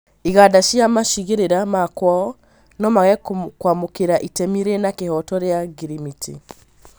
Iganda cia macigĩrĩra ma kwao nomage kwamũkĩra itemi rĩna kĩhooto rĩa ngirimiti